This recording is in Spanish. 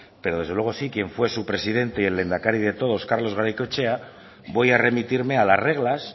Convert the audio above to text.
pero desde luego sí quien fue su presidente y el lehendakari de todos carlos garaikoetxea voy a remitirme a las reglas